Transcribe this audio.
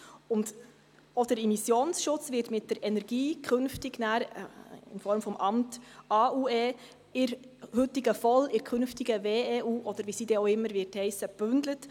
Auch der Immissionsschutz wird mit der Energie in Form des Amtes AUE in der heutigen VOL oder künftigen WEU, oder wie sie dann heissen wird, gebündelt.